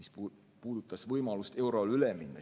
See puudutas võimalust eurole üle minna.